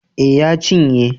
Eh ya cinye